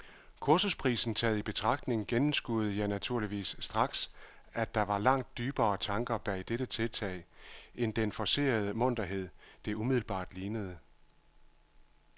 Kursusprisen taget i betragtning gennemskuede jeg naturligvis straks, at der var langt dybere tanker bag dette tiltag end den forcerede munterhed, det umiddelbart lignede.